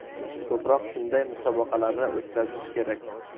Ko‘proq shunday musobaqalarni o‘tkazish kerak.